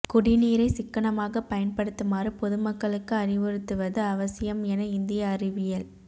குடிநீரை சிக்கனமாகப் பயன்படுத்துமாறு பொதுமக்களுக்கு அறிவுறுத்துவது அவசியம் என இந்திய அறிவியல்